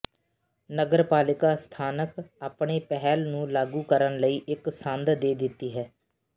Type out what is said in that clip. ਨਗਰਪਾਲਿਕਾ ਸਥਾਨਕ ਆਪਣੇ ਪਹਿਲ ਨੂੰ ਲਾਗੂ ਕਰਨ ਲਈ ਇੱਕ ਸੰਦ ਦੇ ਦਿੱਤੀ ਹੈ